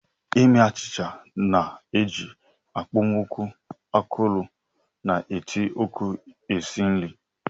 Ime achịcha na-eji okpomọkụ akọrọ na ite oku esi nri.